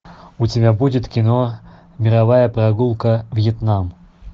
у тебя будет кино мировая прогулка вьетнам